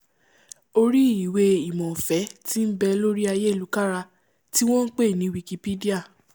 orí ìwé-ìmọ̀ ọ̀fẹ́ tí nbẹ lórí ayélukára tí wọ́n npè ní wikipedia